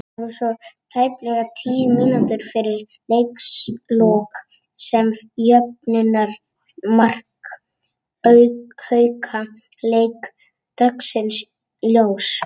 Það var svo tæplega tíu mínútum fyrir leikslok sem jöfnunarmark Hauka leit dagsins ljós.